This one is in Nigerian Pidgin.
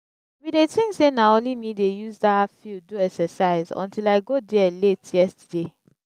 i bin dey think say na only me dey use dat field do exercise untill i go there late yesterday